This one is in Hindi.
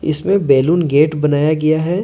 इसमें बैलून गेट बनाया गया है।